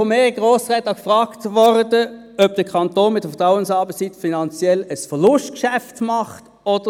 Ich wurde von mehreren Grossräten gefragt, ob der Kanton mit der Vertrauensarbeitszeit finanziell ein Verlustgeschäft mache.